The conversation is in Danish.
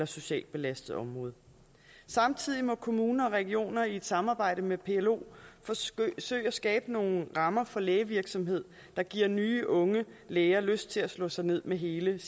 socialt belastet område samtidig må kommuner og regioner i et samarbejde med plo forsøge at skabe nogle rammer for lægevirksomhed der giver nye unge læger lyst til at slå sig ned med hele